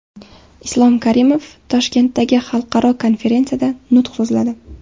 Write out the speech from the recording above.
Islom Karimov Toshkentdagi xalqaro konferensiyada nutq so‘zladi.